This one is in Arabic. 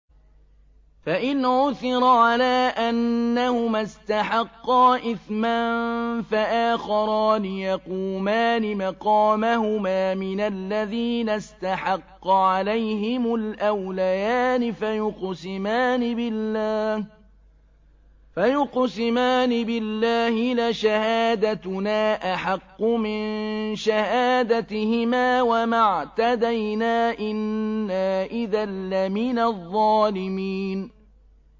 فَإِنْ عُثِرَ عَلَىٰ أَنَّهُمَا اسْتَحَقَّا إِثْمًا فَآخَرَانِ يَقُومَانِ مَقَامَهُمَا مِنَ الَّذِينَ اسْتَحَقَّ عَلَيْهِمُ الْأَوْلَيَانِ فَيُقْسِمَانِ بِاللَّهِ لَشَهَادَتُنَا أَحَقُّ مِن شَهَادَتِهِمَا وَمَا اعْتَدَيْنَا إِنَّا إِذًا لَّمِنَ الظَّالِمِينَ